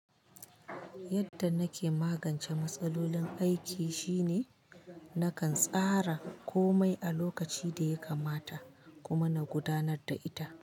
Yadda nake magance matsalolin aiki shine nakan tsara komai a lokaci da ya kamata kuma na gudanar da ita.